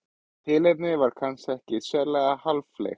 Tilefnið var kannski ekki sérlega háfleygt.